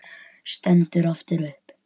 Stendur aftur upp.